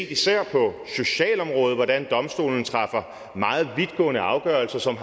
især på socialområdet set hvordan domstolen træffer meget vidtgående afgørelser som